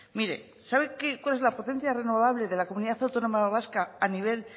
mire sabe cuál es la potencia renovable de la comunidad autónoma vasca a nivel